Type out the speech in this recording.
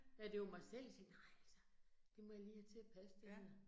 Ja, det var mig selv, jeg tænkte, nej altså, det må jeg lige have til at passe det her